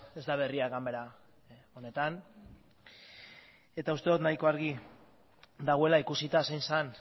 ez da berria ganbara honetan uste dut nahiko garbi dagoela ikusita zein zen